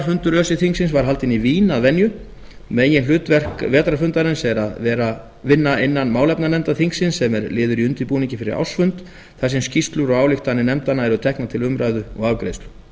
vetrarfundur öse þingsins var haldinn í vín að venju meginhlutverk vetrarfundarins er vinna innan málefnanefnda þingsins sem er liður í undirbúningi fyrir ársfund þar sem skýrslur og ályktanir nefndanna eru teknar til umræðu og afgreiðslu